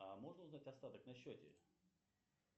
а можно узнать остаток на счете